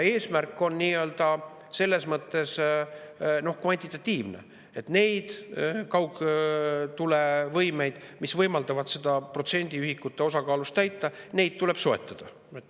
Eesmärk on selles mõttes kvantitatiivne: neid kaugtulevõimeid, mis võimaldavad seda protsendiühikut täita, tuleb soetada.